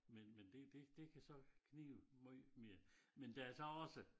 Men men men det det det kan så knibe måj mere men der er så også